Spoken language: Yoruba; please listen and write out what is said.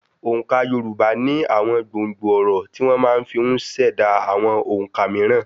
Òǹkà Yorùbá ní àwọn gbòǹgbò ọ̀rọ̀ tí wọ́n máa fi ùn ṣẹ̀dá àwọn òǹkà mííràn.